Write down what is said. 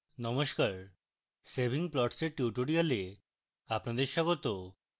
নমস্কার saving plots এর tutorial আপনাদের স্বাগত